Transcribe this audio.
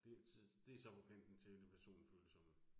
Det så det så på kanten til det personfølsomme